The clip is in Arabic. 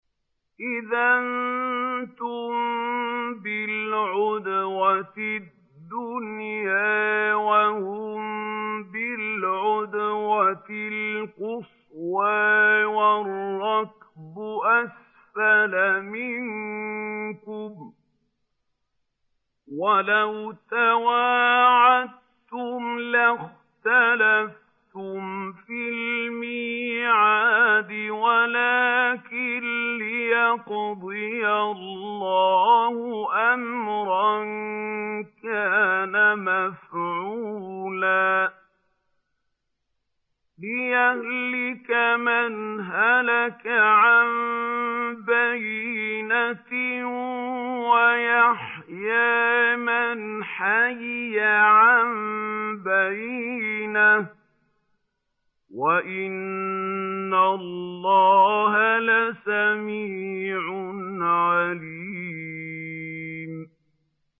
إِذْ أَنتُم بِالْعُدْوَةِ الدُّنْيَا وَهُم بِالْعُدْوَةِ الْقُصْوَىٰ وَالرَّكْبُ أَسْفَلَ مِنكُمْ ۚ وَلَوْ تَوَاعَدتُّمْ لَاخْتَلَفْتُمْ فِي الْمِيعَادِ ۙ وَلَٰكِن لِّيَقْضِيَ اللَّهُ أَمْرًا كَانَ مَفْعُولًا لِّيَهْلِكَ مَنْ هَلَكَ عَن بَيِّنَةٍ وَيَحْيَىٰ مَنْ حَيَّ عَن بَيِّنَةٍ ۗ وَإِنَّ اللَّهَ لَسَمِيعٌ عَلِيمٌ